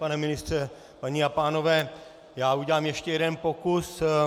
Pane ministře, paní a pánové, já udělám ještě jeden pokus.